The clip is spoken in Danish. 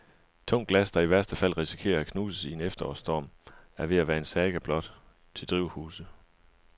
Tungt glas, der i værste fald risikerer at knuses i en efterårsstorm, er ved at være en saga blot til drivhuse.